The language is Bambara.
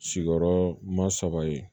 Sigiyɔrɔma saba ye